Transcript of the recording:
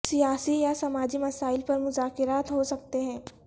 سیاسی یا سماجی مسائل پر مذاکرات ہو سکتے ہیں